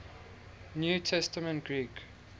new testament greek